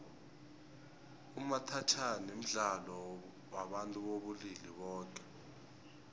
umathajhana mdlalo wabantu bobulili boke